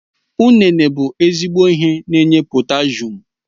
Ụnene bụ ezigbo ihe n'enye potashum